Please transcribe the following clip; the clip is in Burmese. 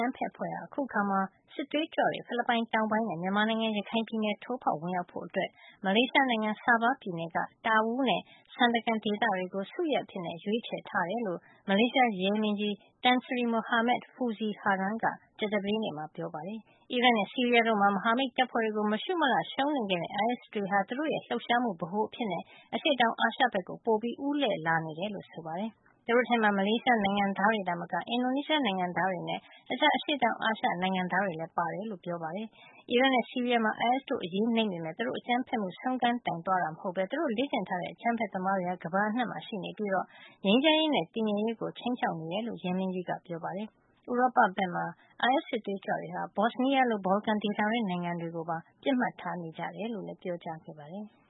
မ်းဖက်အဖွဲ့ဟာ အခုအခါမှာ ဖိလစ်ပိုင်တောင်ပိုင်းနဲ့ မြန်မာနိုင်ငံ ရခိုင်ပြည်နယ်ကို ထိုးဖေါက် ဝင်ရောက်ဖို့အတွက် မလေးရှားနိုင်ငံ Sabah ပြည်နယ်က Tawau နဲ့ Sandakan ဒေသတွေကို စုရပ်အဖြစ် ရွေးချယ်ထားတယ်လို့ မလေးရှား ရဲမင်းကြီးTan Sri Mohamad Fuzi Harun က ကြာသပတေးနေ့မှာ ပြောကြားလိုက်ပါတယ်။ အီရတ် နဲ့ ဆီးရီးယားတို့မှာ မဟာမိတ်တပ်ဖွဲ့တွေကို မရှုမလှ ရှုံးနိမ့်ခဲ့တဲ့ အိုင်အက်စ် တွေဟာ သူတို့ရဲ့ လှုပ်ရှားမှု ဗဟိုအဖြစ် အရှေ့တောင်အာရှ ဘက်ကို ပိုပြီး ဦးလှည့်လာတယ်လို့လည်း ဆိုပါတယ်။ သူတို့ထဲမှာ မလေးရှားနိုင်ငံသားတွေ သာမက အင်ဒိုနီးရှားနိုင်ငံသားတွေနဲ့ တခြား အရှေ့တောင် အာရှ နိုင်ငံသားတွေလည်း ပါဝင်တယ်လို့ ဆိုပါတယ်။ အီရတ်နဲ့ ဆီးရီးယားမှာ အိုင်အက်စ်တို့ အရေးနိမ့်ပေမယ့် သူတို့ရဲ့ အကြမ်းဖက်မှု ဆုံးခန်းတိုင် သွားတာ မဟုတ်ပဲ သူတို့ လေ့ကျင့်ထားတဲ့ အကြမ်းဖက်သမားတွေဟာ ကမ္ဘာအနှံ့မှာ ရှိနေပြီး ငြိမ်းချမ်းရေးနဲ့ တည်ငြိမ်ရေးကို ခြိမ်းခြောက်နေတယ်လို့လည်း ရဲမင်းကြီးက သတင်းထောက်တွေကို ပြောခဲ့ပါတယ်။ ဥရောပ ဘက်မှာတော့ အိုင်အက်စ် စစ်သွေးကြွတွေဟာ Bosnia လို ဘော်လကန်ဒေသတွင်း နိုင်ငံတွေကို ပစ်မှတ်ထား နေကြတယ်လို့လည်း ပြောကြားခဲ့ပါတယ်။